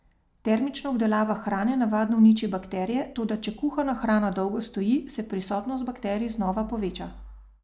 Termična obdelava hrane navadno uniči bakterije, toda če kuhana hrana dolgo stoji, se prisotnost bakterij znova poveča.